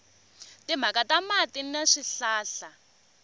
timhaka ta mati ni swihlahla